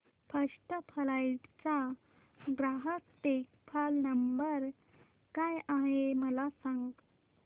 first Flight चा ग्राहक देखभाल नंबर काय आहे मला सांग